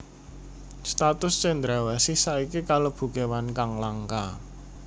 Status cendrawasih saiki kalebu kéwan kang langka